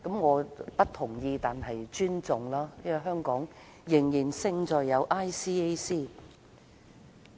我不同意但尊重，因為香港仍然勝在有 ICAC。